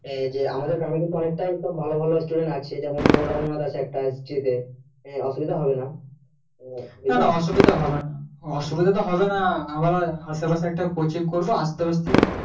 যে আমাদের গ্রামে কিন্তু অনেক টাই সব ভালো ভালো students আছে যেমন ধরো রোমনাথ আছে একটা history তে হমম অসুবিধা হবে না না না অসুবিধা হবে না অসুবিধা তো হবে না আবার আশেপাশে একটা coaching করবো আসতে আসতে